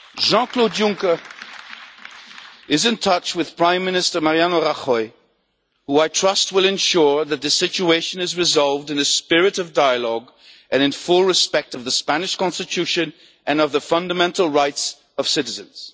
Jean Claude Juncker is in touch with Prime Minister Mariano Rajoy, who, I trust, will ensure that the situation is resolved in a spirit of dialogue and in full respect for the Spanish Constitution and the fundamental rights of citizens.